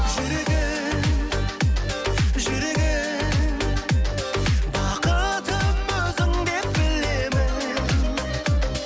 жүрегім жүрегім бақытым өзіңдеп білемін